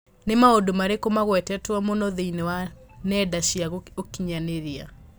Nĩ maũndũ marĩkũ magwetetwo mũno thĩinĩ wa nenda cia ũkĩnyaniria